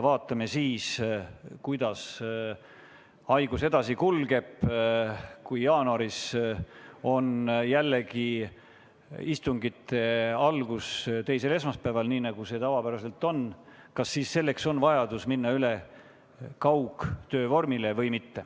Vaatame, kuidas see haigus edasi kulgeb ja kas jaanuaris, kui istungid teisel esmaspäeval jälle algavad – nii nagu see tavapäraselt on olnud –, on vajadus üle minna kaugtöö vormile või mitte.